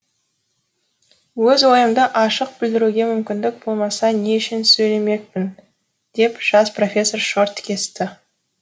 өз ойымды ашық білдіруге мүмкіндік болмаса не үшін сөйлемекпін деп жас профессор шорт кесті